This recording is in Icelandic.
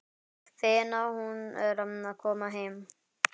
Fegin að hún er að koma heim.